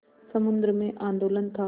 समुद्र में आंदोलन था